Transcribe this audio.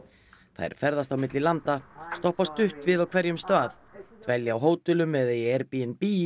þær ferðast milli landa stoppa stutt við á hverjum stað dvelja á hótelum eða í Airbnb